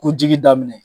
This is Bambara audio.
Ko jigi daminɛ